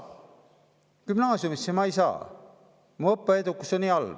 Gümnaasiumisse ma ei saa, kui mu õppeedukus on nii halb.